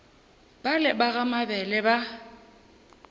bale ba ga mabele ba